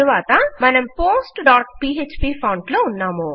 తరువాత మనం postపీఎచ్పీ ఫాంట్ లో ఉన్నాము